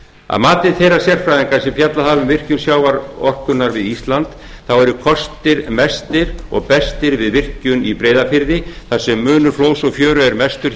að mati þeirra sérfræðinga sem fjallað hafa um virkjun sjávarorkunnar við ísland eru kostir mestir og bestir við virkjun í breiðafirði þar sem munur flóðs og fjöru er mestur